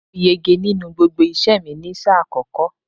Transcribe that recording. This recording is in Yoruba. Mo yege nínú gbogbo iṣẹ́ẹ̀ mi ni sáà àkọ́kọ́.